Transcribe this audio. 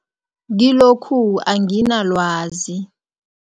Kilokhu anginalwazi.